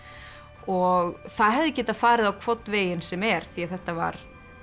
og það hefði getað farið á hvorn veginn sem er því þetta var